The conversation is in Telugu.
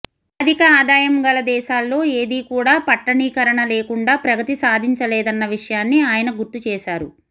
అధిక ఆదాయం గల దేశాల్లో ఏదీ కూడా పట్టణీకరణ లేకుండా ప్రగతి సాధించలేదన్న విషయాన్ని ఆయన గుర్తు చేశారు